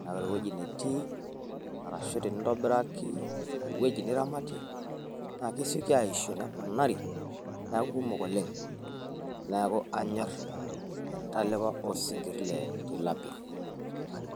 ,naa ore ewueji natii arashu tenintabiraki ewueji jiramatie naa kesioki aashio neponari neeku kumok oleng neeku anyor entalipa oosinkir le tilapia.